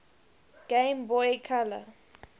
game boy color